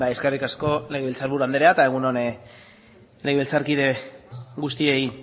eskerrik asko legebiltzar buru anderea eta egun on legebiltzarkide guztiei